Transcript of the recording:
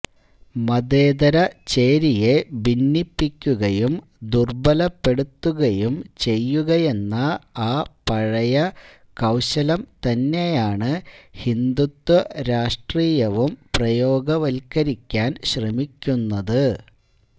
മതേതര ചേരിയെ ഭിന്നിപ്പിക്കുകയും ദുര്ബലപ്പെടുത്തുകയും ചെയ്യുകയെന്ന ആ പഴയ കൌശലം തന്നെയാണ് ഹിന്ദുത്വ രാഷ്ട്രീയവും പ്രയോഗവത്കരിക്കാന് ശ്രമിക്കുന്നത്